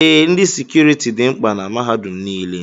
Ee, ndị sekuriti dị mkpa na mahadum nile.